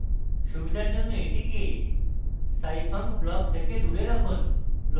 সুবিধার জন্য এটিকে scifunc block থেকে দূরে রাখুন